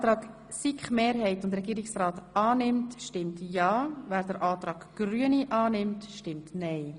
Wer den Antrag SiK-Mehrheit und Regierungsrat annimmt, stimmt ja, wer den Antrag Grüne Machado annimmt, stimmt nein.